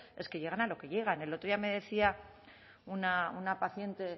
es que llegan a lo que llegan el otro día me decía una paciente